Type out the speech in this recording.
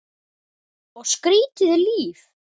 Og skrýtið líf.